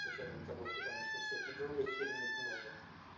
с учётом того что там ещё всякой другой херни много